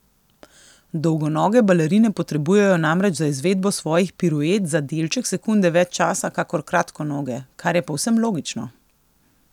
Dolgonoge balerine potrebujejo namreč za izvedbo svojih piruet za delček sekunde več časa kakor kratkonoge, kar je povsem logično.